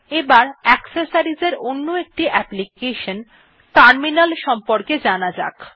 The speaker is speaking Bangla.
এবার অ্যাক্সেসরিজ এর অন্য একটি অ্যাপ্লিকেশন টার্মিনাল সম্পর্কে জানা যাক